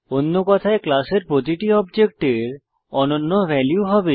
অন্য কথায় ক্লাসের প্রতিটি অবজেক্টের অনন্য ভ্যালু হবে